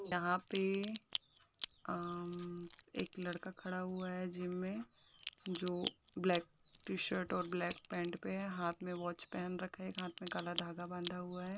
यहा पे अम एक लड़का खड़ा हुआ है जिम में जो ब्लैक टी- शर्ट और ब्लैक पैंट पे हाथ मे वॉच पेहन रखा है एक हाथ में कला धागा बांधा हुआ है।